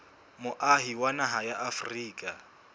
moahi wa naha ya afrika